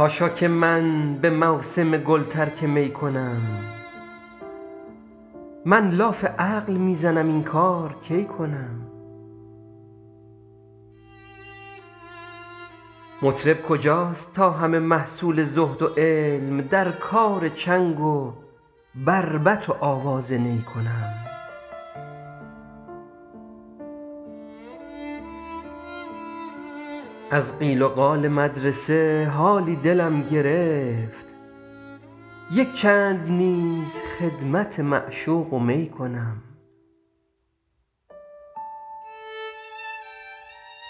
حاشا که من به موسم گل ترک می کنم من لاف عقل می زنم این کار کی کنم مطرب کجاست تا همه محصول زهد و علم در کار چنگ و بربط و آواز نی کنم از قیل و قال مدرسه حالی دلم گرفت یک چند نیز خدمت معشوق و می کنم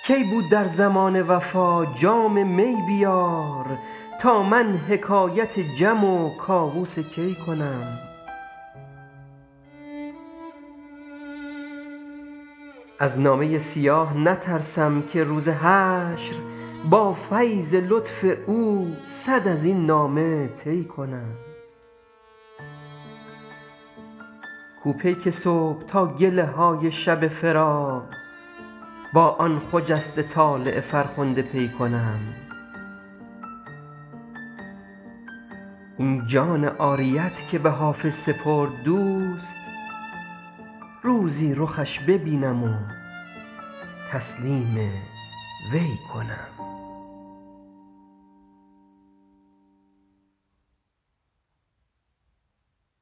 کی بود در زمانه وفا جام می بیار تا من حکایت جم و کاووس کی کنم از نامه سیاه نترسم که روز حشر با فیض لطف او صد از این نامه طی کنم کو پیک صبح تا گله های شب فراق با آن خجسته طالع فرخنده پی کنم این جان عاریت که به حافظ سپرد دوست روزی رخش ببینم و تسلیم وی کنم